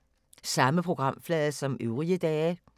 Samme programflade som øvrige dage